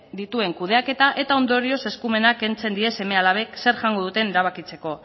dituen kudeaketa eta ondorioz eskumena kentzen die seme alabek zer jango duten erabakitzeko